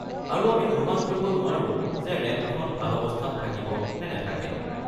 আৰু আমি অনুমান কৰিব নোৱাৰোঁ যে ৰেম্পখন ভাল অৱস্থাত থাকিব নে নাথাকে।